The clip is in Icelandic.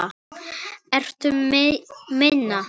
Ertu að meina.?